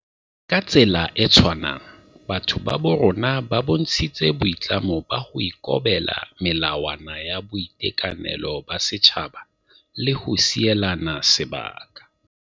Ka tsela e tshwanang, batho ba bo rona ba bontshitse boitlamo ba ho ikobela melawa na ya boitekanelo ba setjhaba le ho sielana sebaka.